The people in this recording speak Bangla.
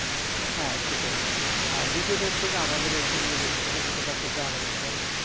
হ্যাঁ সেটাই আর দ্বিতীয়ত হচ্ছে যে আমাদের এইখানে দেখুন ছোট ছোট বাচ্চা গ্রাম অঞ্চল